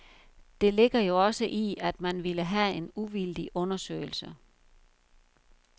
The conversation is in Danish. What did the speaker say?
Det ligger jo også i, at man ville have en uvildig undersøgelse.